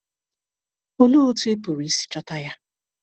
Olee otú ị pụrụ isi chọta ya?